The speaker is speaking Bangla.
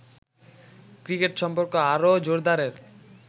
ক্রিকেট সম্পর্ক আরো জোরদারের